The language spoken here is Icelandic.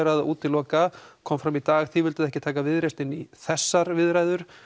að útiloka kom fram í dag að þið vilduð ekki taka Viðreisn inn í þessar viðræður